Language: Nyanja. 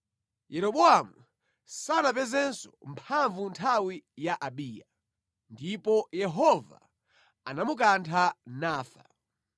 Yeroboamu sanapezenso mphamvu nthawi ya Abiya. Ndipo Yehova anamukantha nafa.